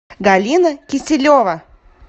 галина киселева